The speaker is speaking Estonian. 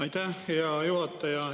Aitäh, hea juhataja!